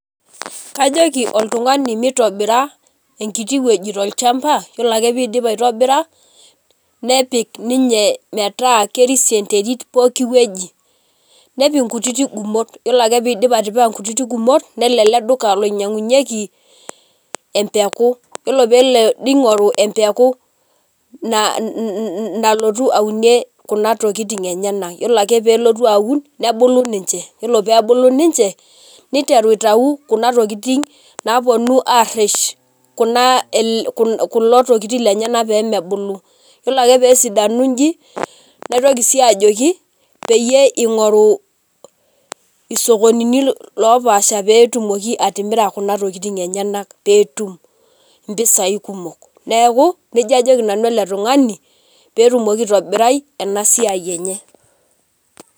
Kajoki oltungani mitobira enkiti wueji tolchamba, yiolo ake piidip aitobira nepik ninye metaa kerisio enterit pookin wueji nepik nkutitik gumot, yiolo ake peidip atipika nkutiti ngumot nelo eleduka loinyangunyieki empeku, yiolo pelo eleduka ningoru empeku nalotu aunie kuna tokitin enyenak, yiolo ake pelotu aunnebulu ninche, yiolo pebulu ninche niteru aitau kuna tokitin naponu areshkuna tokitin enyenak pemebulu, yiolo ake pesidanu nji naitoki siyie ajoki peyie ingorilu isokonini opaasha petumokiatimira kunatokitin enyenak petum mpisai kumok neaku nejia ajoki nanu ilotungani petumoki aitobirai enasiai enye.